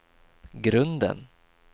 grunden